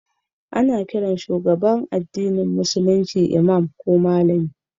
Ana kiran shugaban addinin Musulunci Imam ko Malami